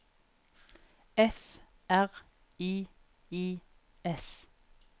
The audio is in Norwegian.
F R I I S